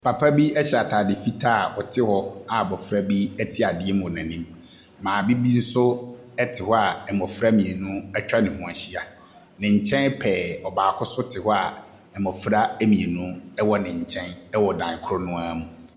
Papa bi hyɛ atade fitaa a ɔte hɔ a abɔfra bi te adeɛ mu wɔ n'anim. Maame bi nso so te hɔ a mmɔfra mmienu atwa ne ho ahyia. Ne nkyen pɛɛ, ɔbaako nso te hɔ a mmɔfra mmienu wɔ ne nkyɛn wɔ dan koro no ara mu.